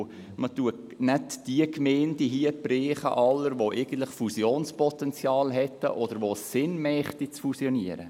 Man trifft damit nicht die Gemeinden, die Fusionspotenzial hätten oder für jene es Sinn machen würde, zu fusionieren.